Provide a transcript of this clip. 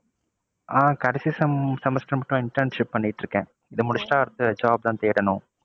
ஆஹ் கடைசி sem semester மட்டும் internship பண்ணிட்டு இருக்கேன். இது முடிச்சிட்டா அடுத்து job தான் தேடணும்.